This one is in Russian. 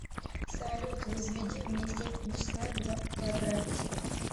салют возведи мне степень числа два в квадрате